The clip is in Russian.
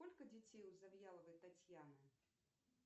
сколько детей у завьяловой татьяны